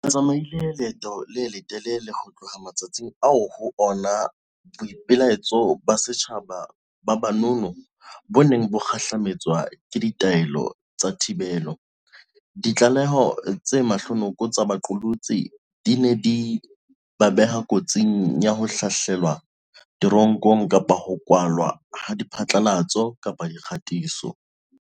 Re tsamaile leeto le letelele ho tloha matsatsing ao ho ona boipelaetso ba setjhaba ba ba nono bo neng bo kgahlame tswa ke ditaelo tsa thibelo, ditlaleho tse mahlonoko tsa baqolotsi di neng di ba beha kotsing ya ho hlahlelwa te ronkong kapa ho kwalwa ha diphatlalatso-dikgatiso.